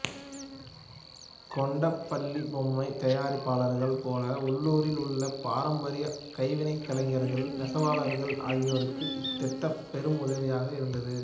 கொண்டப்பள்ளி பொம்மை தயாரிப்பாளர்கள் போல உள்ளூரில் உள்ள பாரம்பரியக் கைவினைக் கலைஞர்கள் நெசவாளர்கள் ஆகியோருக்கு இத்திட்டம் பெரும் உதவியாக இருந்தது